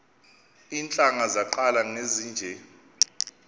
iintlanga zaqala ngezinje